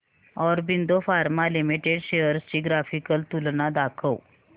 Aurobindo pharma limited shares ची graphical तुलना दाखव